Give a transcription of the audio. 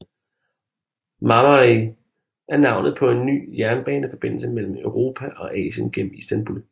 Marmaray er navnet på en ny jernbaneforbindelse mellem Europa og Asien gennem Istanbul